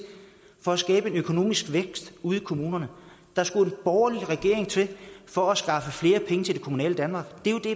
for at skabe en økonomisk vækst ude i kommunerne der skulle en borgerlig regering til for at skaffe flere penge til det kommunale danmark det er jo det